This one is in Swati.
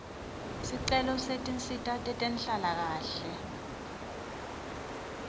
sicelo setinsita tetenhlalakahle